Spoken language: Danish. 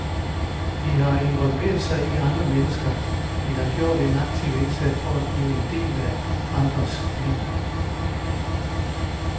De har involveret sig i andre mennesker, de har gjort en aktiv indsats for at blive en del af andres liv.